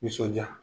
Nisɔndiya